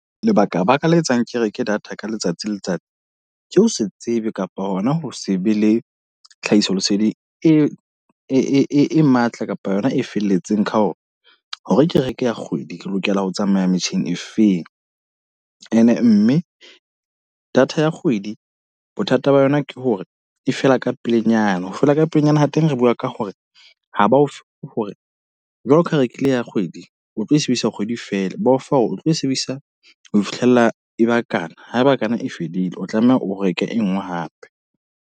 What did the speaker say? Lebaka baka le etsang ke reke data ka letsatsi le letsatsi. Ke ho se tsebe kapa hona ho se be le tlhahiso leseding e matla kapa yona e felletseng. Kha ho re hore ke reke kgwedi ke lokela ho tsamaya metjheng e feng. E ne mme data ya kgwedi, bothata ba yona ke hore e fela ka pelenyana, ho fela ka pelenyana hw teng re bua ka hore ha ba o fe hore jwaloka ka ha o rekile ya kgwedi. O tlo e sebedisa kgwedi fela, ba o fa hore o tlo e sebedisa ho fihlella e bakana. Haeba kana e fedile, o tlameha o reke e nngwe hape.